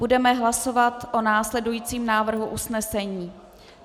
Budeme hlasovat o následujícím návrhu usnesení.